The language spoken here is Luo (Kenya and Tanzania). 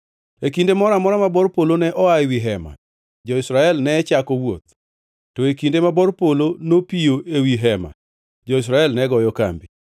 E kinde moro amora ma bor polo ne oa ewi Hema, jo-Israel ne chako wuoth; to e kinde ma bor polo nopiyo ewi Hema, jo-Israel ne goyo kambi.